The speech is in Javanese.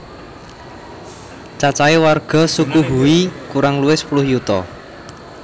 Cacahe warga suku Hui kurang luwih sepuluh yuta